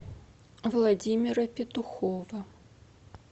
владимира петухова